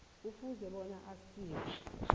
kufuze bona aziswe